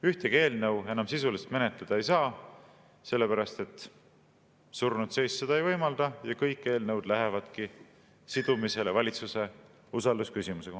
Ühtegi eelnõu enam sisuliselt menetleda ei saa, sellepärast et surnud seis seda ei võimalda, ja kõik eelnõud lähevadki sidumisele valitsuse usalduse küsimusega.